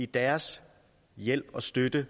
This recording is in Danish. deres hjælp og støtte